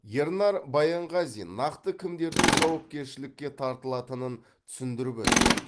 ернар баянғазин нақты кімдердің жауапкершілікке тартылатынын түсіндіріп өтті